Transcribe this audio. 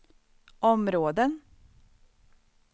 områden